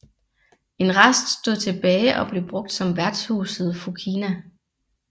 En rest stod tilbage og blev brugt som værtshuset Fokina